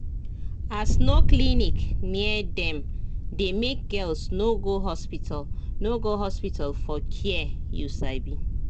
as no clinic near dem dey make girls no go hospital no go hospital for care you sabi